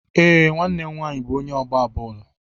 Ee, nwanne m nwaanyị bụ onye na-agba bọọlụ.